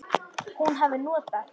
Hún hafi notað